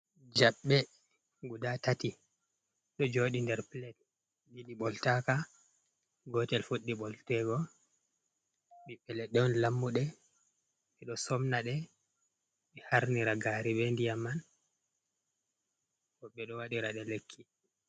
jaɓɓe guda tati do jodi nder plate ɗiɗi boltaka gotel fuɗɗi boltego biɓɓe leɗɗe on lammude bedo somna ɗe ɓe harnira gari be ndiyam man bo ɓedo waɗira de lekki.